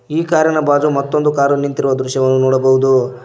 ಈ ಕಾರಿ ನ ಬಾಜು ಮತ್ತೊಂದು ಕಾರು ನಿಂತಿರುವ ದೃಶ್ಯವನ್ನು ನೋಡಬಹುದು.